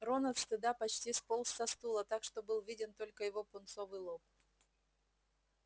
рон от стыда почти сполз со стула так что был виден только его пунцовый лоб